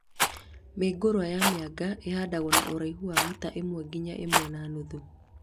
Mĩũngũrwa ya mĩanga ĩhandagwo na ũraihu wa mita ĩmwe nginya ĩmwe na nuthu